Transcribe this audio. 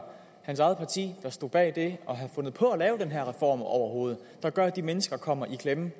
hans eget parti der står bag det og har fundet på at lave den her reform overhovedet der gør at de mennesker kommer i klemme